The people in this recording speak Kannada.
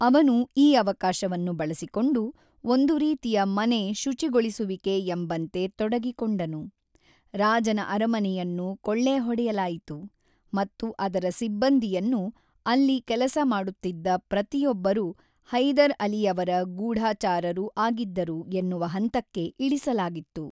ಅವನು ಈ ಅವಕಾಶವನ್ನು ಬಳಸಿಕೊಂಡು ಒಂದು ರೀತಿ ಮನೆ ಶುಚಿಗೊಳಿಸುವಿಕೆ ಎಂಬಂತೆ ತೊಡಗಿಕೊಂಡನು: ರಾಜನ ಅರಮನೆಯನ್ನು ಕೊಳ್ಳೆ ಹೊಡೆಯಲಾಯಿತು, ಮತ್ತು ಅದರ ಸಿಬ್ಬಂದಿಯನ್ನು, ಅಲ್ಲಿ ಕೆಲಸ ಮಾಡುತ್ತಿದ್ದ ಪ್ರತಿಯೊಬ್ಬರೂ ಹೈದರ್ ಅಲಿಯವರ ಗೂಢಚಾರರೂ ಆಗಿದ್ದರು ಎನ್ನುವ ಹಂತಕ್ಕೆ ಇಳಿಸಲಾಗಿತ್ತು.